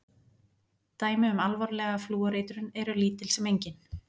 Dæmi um alvarlega flúoreitrun eru lítil sem engin.